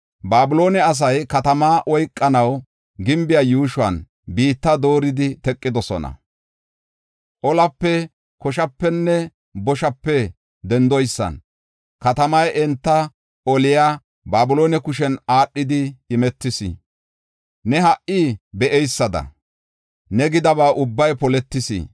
“Babiloone asay katamaa oykanaw gimbiya yuushuwan biitta dooridi teqidosona. Olape, koshapenne boshape dendoysan katamay enta oliya Babiloone kushen aadhidi imetis. Ne ha77i be7eysada ne gidaba ubbay poletis.